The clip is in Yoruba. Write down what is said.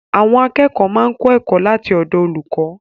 Àwọn akẹ́kọ̀ọ́ máa ń kọ́ ẹ̀kọ́ láti ọ̀dọ̀ olùkọ́